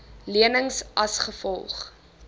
lenings as gevolg